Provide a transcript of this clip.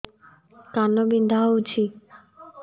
କାନ ବିନ୍ଧା ହଉଛି